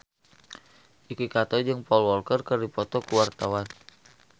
Yuki Kato jeung Paul Walker keur dipoto ku wartawan